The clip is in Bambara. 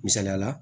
Misaliyala